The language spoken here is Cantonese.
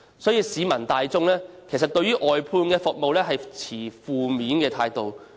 因此，市民大眾對外判服務持負面態度。